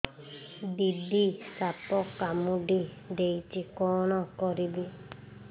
ଦିଦି ସାପ କାମୁଡି ଦେଇଛି କଣ କରିବି